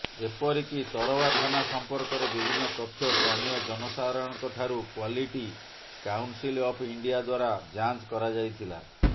ଏପରିକି ତରଭା ଥାନା ସମ୍ପର୍କରେ ବିଭିନ୍ନ ତଥ୍ୟ ସ୍ଥାନୀୟ ଜନସାଧାରଣଙ୍କଠାରୁ କ୍ୱାଲିଟି କାଉନସିଲ ଅଫ ଇଣ୍ଡିଆ ଦ୍ୱାରା ଯାଞ୍ଚକରାଯାଇଥିଲା